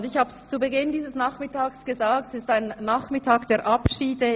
Ich habe es zu Beginn dieses Nachmittags gesagt, es ist der Nachmittag der Abschiede.